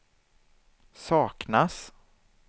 saknas